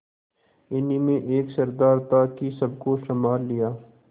इन्हीं में एक सरदार था कि सबको सँभाल लिया